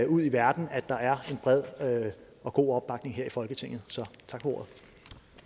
ud i verden at der er en bred og god opbakning her i folketinget